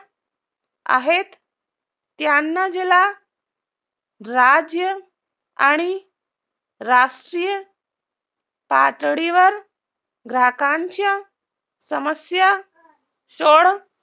आहेत त्यांना जिला, राज्य आणि राष्ट्रीय पातळीवर ग्राहकांच्या समस्या सोड